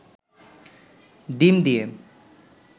ডিম দিয়ে